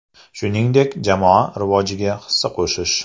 Shuningdek, jamoa rivojiga hissa qo‘shish.